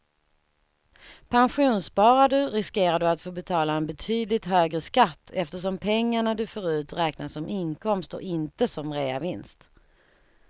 Pensionssparar du riskerar du att få betala en betydligt högre skatt eftersom pengarna du får ut räknas som inkomst och inte som reavinst.